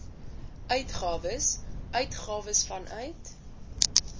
uitgawes uitgawes vanuit